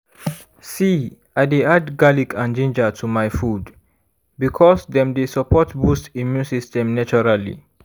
see i dey add garlic and ginger to my food because dem dey support boost immune system naturally